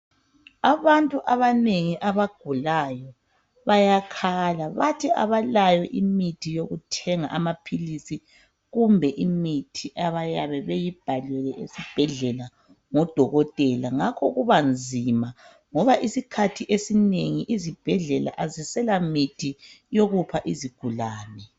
Abantu abanengi abagulayo bayakhala bathi abalayo imithi yokuthenga amaphilisi kumbe imithi abayabe beyibhalelwe esibhedlela ngodokotela, ngakho kuba nzima ngoba isikhathi esinengi izibhedlela azisela mithi yokupha izigulane.